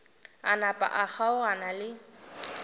a napa a kgaogana le